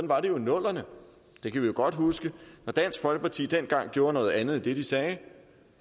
var det jo i nullerne det kan vi godt huske når dansk folkeparti dengang gjorde noget andet end det de sagde